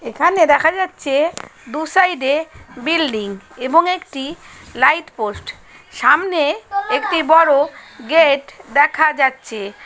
এখানে দেখা যাচ্ছে-এ দু সাইড -এ বিল্ডিং । এবং একটি লাইট পোস্ট সামনে একটি বড় গেট দেখা যাচ্ছে।